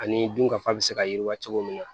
Ani dunkafa bɛ se ka yiriwa cogo min na